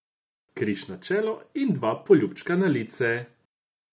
Križ na čelo in dva poljubčka na lice.